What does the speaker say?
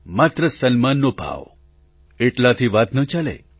માત્ર સન્માનનો ભાવ એટલાથી વાત ન ચાલે